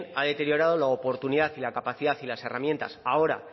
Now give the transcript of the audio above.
ha deteriorado lo oportunidad y la capacidad y las herramientas ahora